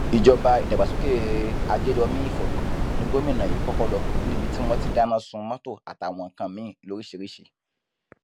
ìjọba ìdàgbàsókè àjèjòmi ìfọgbọn ní gómìnà yìí kọkọ lọ níbi tí wọn ti dáná sun mọtò àtàwọn nǹkan míín lóríṣìírísì